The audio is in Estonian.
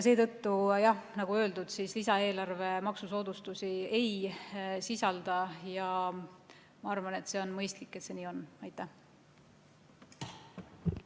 Seetõttu, jah, nagu öeldud, lisaeelarve maksusoodustusi ei sisalda ja ma arvan, et on mõistlik, et see nii on.